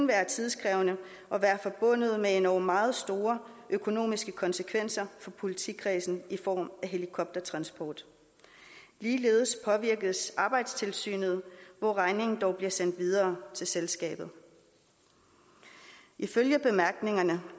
være tidskrævende og være forbundet med nogle meget store økonomiske konsekvenser for politikredsen i form af helikoptertransport ligeledes påvirkes arbejdstilsynet hvor regningen dog bliver sendt videre til selskabet ifølge bemærkningerne